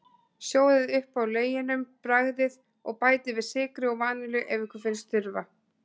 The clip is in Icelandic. Sjóðið upp á leginum, bragðið, og bætið við sykri og vanillu ef ykkur finnst þurfa.